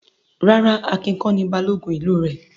Rárá, Akin kọ́ ni Balógun ìlú rẹ̀.